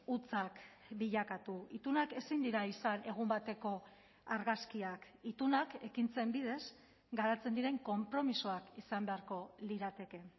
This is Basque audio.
hutsak bilakatu itunak ezin dira izan egun bateko argazkiak itunak ekintzen bidez garatzen diren konpromisoak izan beharko lirateke